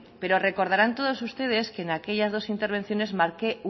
preo recordarán todos ustedes que en aquellas dos intervenciones marqué